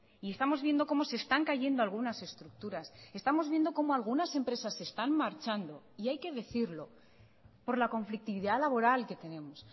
y estamos viendo como se están cayendo algunas estructuras estamos viendo como algunas empresas se están marchando y hay que decirlo por la conflictividad laboral que tenemos